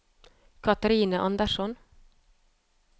Catherine Anderson